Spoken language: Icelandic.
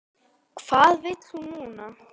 Hvað vill hún núna?